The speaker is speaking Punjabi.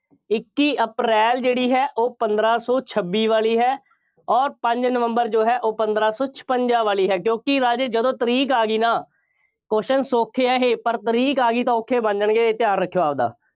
ਇੱਕੀ ਅਪ੍ਰੈਲ ਜਿਹੜੀ ਹੈ ਉਹ ਪੰਦਰਾਂ ਸੌ ਛੱਬੀ ਵਾਲੀ ਹੈ ਅੋਰ ਪੰਜ ਨਵੰਬਰ ਜੋ ਹੈ ਉਹ ਪੰਦਰਾਂ ਸੌ ਛਪੰਜ਼ਾ ਵਾਲੀ ਹੈ। ਕਿਉਂਕਿ ਰਾਜੇ ਜਦੋਂ ਤਾਰੀਕ ਆ ਗਈ ਨਾ, questions ਸੌਖੇ ਆ ਇਹ, ਪਰ ਤਾਰੀਕ ਆ ਗਈ ਤਾਂ ਔਖੇ ਬਣ ਜਾਣਗੇ, ਇਹ ਧਿਆਨ ਰੱਖਿਓ ਆਪਦਾ।